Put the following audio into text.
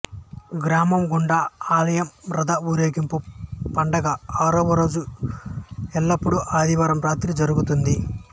గ్రామం గుండా ఆలయం రథ ఊరేగింపు పండుగ ఆరవ రోజు ఎల్లప్పుడూ ఆదివారం రాత్రి జరుగుతుంది